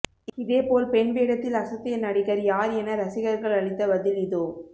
இதே போல் பெண் வேடத்தில் அசத்திய நடிகர் யார் என ரசிகர்கள் அளித்த பதில் இதோ